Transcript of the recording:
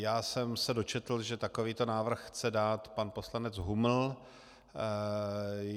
Já jsem se dočetl, že takovýto návrh chce dát pan poslanec Huml.